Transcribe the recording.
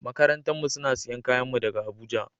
Makarantan mu suna siyan kayan mu daga Abuja.